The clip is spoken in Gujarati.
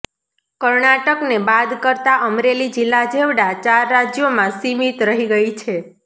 કર્ણાટકને બાદ કરતા અમરેલી જિલ્લા જેવડા ચાર રાજ્યોમાં સીમિત રહી ગઇ છે